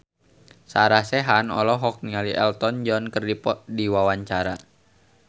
Sarah Sechan olohok ningali Elton John keur diwawancara